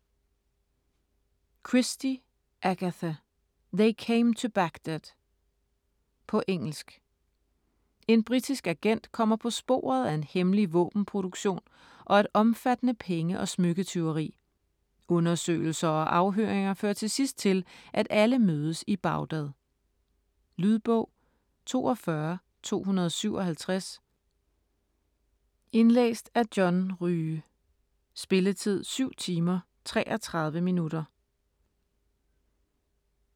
Christie, Agatha: They came to Baghdad På engelsk. En britisk agent kommer på sporet af en hemmelig våbenproduktion og et omfattende penge- og smykketyveri. Undersøgelser og afhøringer fører til sidst til, at alle mødes i Baghdad. Lydbog 42257 Indlæst af John Rye Spilletid: 7 timer, 33 minutter.